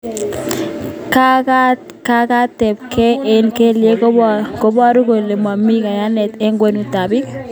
Kakatetapkei eng kelyek koboru kole momi kayanet eng kwenutab bik